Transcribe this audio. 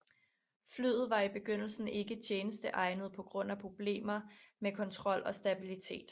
Flyet var i begyndelsen ikke tjenesteegnet på grund af problemer med kontrol og stabillitet